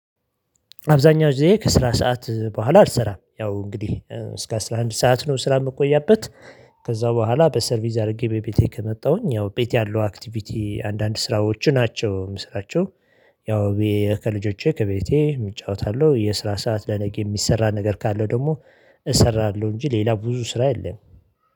አብዛኛው ጊዜ ከስራ ሰዓት በኋላ አልሰራም ያው እንግዲህ እስከ አስራ አንድ ሰዓት ነው ስራ የምትቆያበት ከዛ በኋላ በሰርቪስ አድርጌ ቤቴ ከመጣሁኝ ያው ቤት ያለው አክቲቪቲ አንዳንድ ስራዎች ናቸው የምስራቸው። ያው ከልጆቼ ከቤቴ እጫወታለሁ የስራ ሰዓት ለነገ የሚሰራ ነገር ካለው ደግሞ እሰራለሁ እንጂ ሌላ ብዙ ስራ የለም